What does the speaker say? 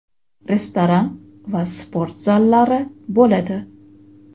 restoran va sport zallari bo‘ladi.